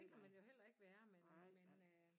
Det kan man jo heller ikke være men men øh